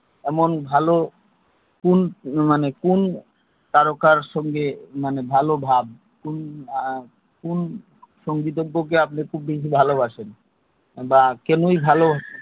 এমন ভালো মানে কুন মানে কুন তারকার সঙ্গে মানে ভালো ভাব কুন কুন সঙ্গীত ভালোবাসেন বা কেনই ভালো